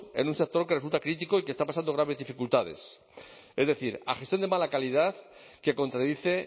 en un sector que resulta crítico y que está pasando graves dificultades es decir a gestión de mala calidad que contradice